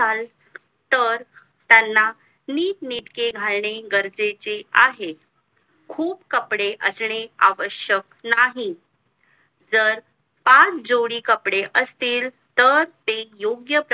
तर त्यांना नीट नेटके घालणे गरजेचे आहे खूप कपडे असं आवश्यक नाही जर पाच जोडी कपडे असतील तर ते योग्य